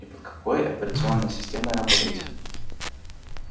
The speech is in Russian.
и под какой операционной системой работаете